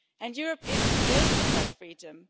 Europe is built on that freedom.